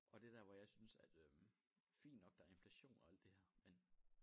Og det der hvor jeg synes at øh fint nok der er inflation og alt det her men